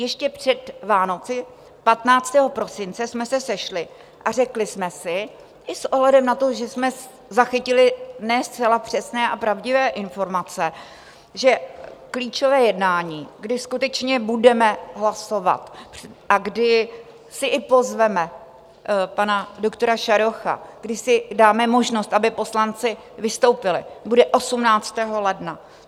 Ještě před Vánoci 15. prosince jsme se sešli a řekli jsme si i s ohledem na to, že jsme zachytili ne zcela přesné a pravdivé informace, že klíčové jednání, kdy skutečně budeme hlasovat a kdy si i pozveme pana doktora Šarocha, kdy si dáme možnost, aby poslanci vystoupili, bude 18. ledna.